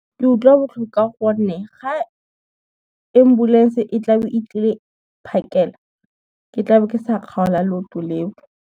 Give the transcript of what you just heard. Ke utlwa botlhoko ka gonne ga, ambulance e tla be e tlile phakela, ke tla be ke sa kgaola leoto leo.